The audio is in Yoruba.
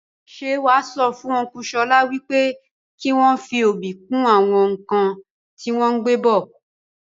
Ṣé wàá sọ fún ọnku Ṣọlá wípé kìí wọn fí obì kún àwọn nkan tí wọn gbé bọ̀